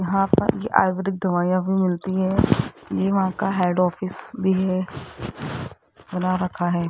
यहाँ पर ये आयुर्वेदिक दवाइयां भी मिलती हैं ये वहा का हेड ऑफिस भी है बना रखा है।